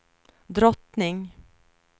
drottning